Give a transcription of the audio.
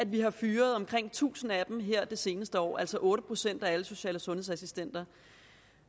vi har fyret omkring tusind af dem her det seneste år altså otte procent af alle social og sundhedsassistenter